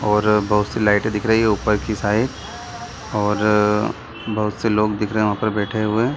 और बहुत सी लाइटे दिख रही है ऊपर की साइड और बहुत से लोग दिख रहे हैं वहाँ पे बैठे हुए |